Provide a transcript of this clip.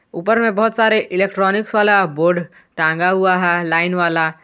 ऊपर मे बहुत सारे इलेक्ट्रॉनिकस वाला बोर्ड टाँगा हुआ है लाईन वाला।